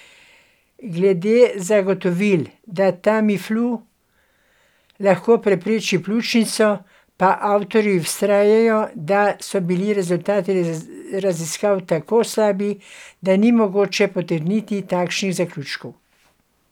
Glede zagotovil, da Tamiflu lahko prepreči pljučnico, pa avtorji vztrajajo, da so bili rezultati raziskav tako slabi, da ni mogoče potegniti takšnih zaključkov.